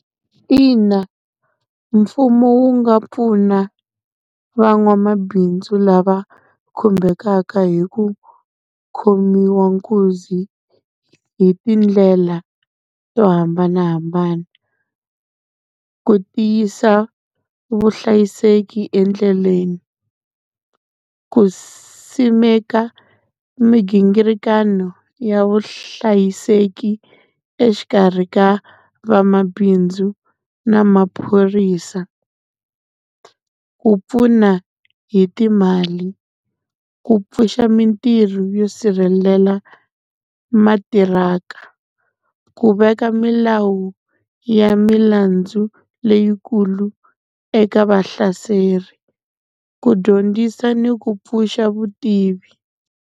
Ina mfumo wu nga pfuna van'wamabindzu lava khumbekaka hi ku khomiwa nkuzi hi tindlela to hambanahambana. Ku tiyisa vuhlayiseki endleleni, ku simeka migingirikano ya vuhlayiseki exikarhi ka vamabindzu na maphorisa. Ku pfuna hi timali, ku pfuxa mintirho yo sirhelela matirhaka, ku veka milawu ya milandzu leyikulu eka vahlaseri, ku dyondzisa ni ku pfuxa vutivi.